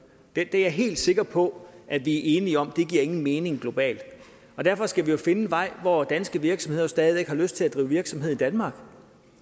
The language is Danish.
det er jeg helt sikker på at vi er enige om giver nogen mening globalt og derfor skal vi jo finde en vej hvor danske virksomheder stadig væk har lyst til at drive virksomhed i danmark